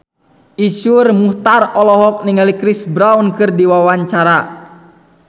Iszur Muchtar olohok ningali Chris Brown keur diwawancara